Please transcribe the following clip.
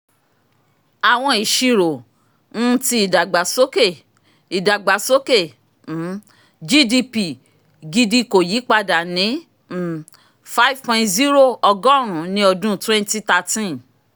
awọn iṣiro um ti idagbasoke idagbasoke um gdp gidi ko yipada ni um five point zero ogorun ni ọdun twenty thirteen.